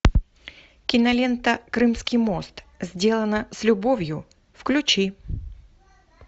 кинолента крымский мост сделано с любовью включи